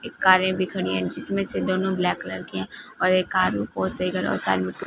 एक कारे भी खड़ी है जिसमें से दोनों ब्लैक कलर की है और एक कार बहोत सही करो साइड मे--